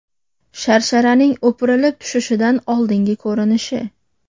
Sharsharaning o‘pirilib tushishidan oldingi ko‘rinishi.